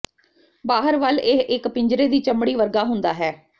ਬਾਹਰ ਵੱਲ ਇਹ ਇੱਕ ਪਿੰਜਰੇ ਦੀ ਚਮੜੀ ਵਰਗਾ ਹੁੰਦਾ ਹੈ